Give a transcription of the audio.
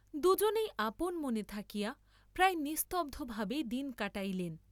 দুজনেই আপন মনে থাকিয়া প্রায় নিস্তব্ধ ভাবেই দিন কাটাইলেন।